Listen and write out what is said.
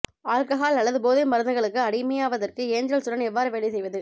alcohol அல்லது போதை மருந்துகளுக்கு அடிமையாவதற்கு ஏஞ்சல்ஸுடன் எவ்வாறு வேலை செய்வது